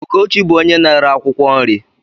Ugochi bú onye na-ere akwụkwọ nri